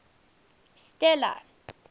stella